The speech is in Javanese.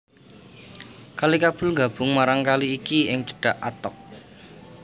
Kali Kabul nggabung marang kali iki ing cedhak Attock